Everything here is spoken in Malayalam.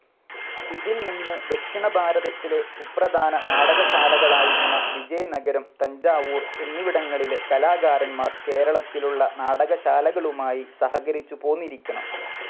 ഇതിൽ നിന്ന് ദക്ഷിണഭാരതത്തിലെ സുപ്രധാന നാടകശാലകളായിരുന്ന വിജയനഗരം, തഞ്ചാവൂർ എന്നിവിടങ്ങളിലെ കലാകാരന്മാർ കേരളത്തിലുള്ള നാടകശാലകളുമായി സഹകരിച്ചുപോന്നിരിക്കണം.